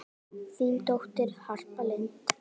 Þín dóttir, Harpa Lind.